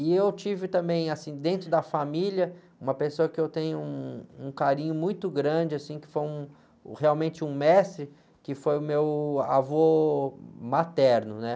E eu tive também, assim, dentro da família, uma pessoa que eu tenho um, um carinho muito grande, assim, que foi um, realmente um mestre, que foi o meu avô materno, né?